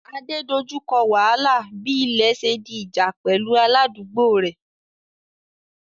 Ade dojú kọ wàhálà bí ilẹ̀ ṣe di ìjà pẹ̀lú aládùúgbò rẹ̀